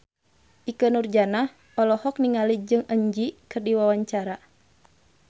Ikke Nurjanah olohok ningali Jong Eun Ji keur diwawancara